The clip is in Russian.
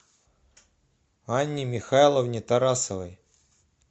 анне михайловне тарасовой